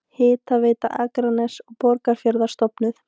Hitaveita Akraness og Borgarfjarðar stofnuð.